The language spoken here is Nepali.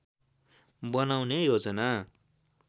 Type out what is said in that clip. बनाउने योजना